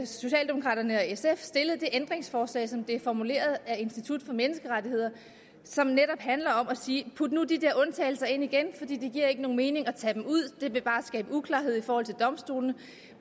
socialdemokraterne og sf stillet et ændringsforslag som er formuleret af institut for menneskerettigheder og som netop handler om at sige put nu de der undtagelser ind igen for det giver ikke nogen mening at tage dem ud det vil bare skabe uklarhed i forhold til domstolene